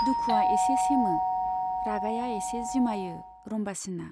दुखुवा एसे सेमो, रागाया एसे जिमायो रम्बासीना।